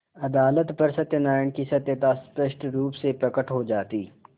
अदालत पर सत्यनारायण की सत्यता स्पष्ट रुप से प्रकट हो जाती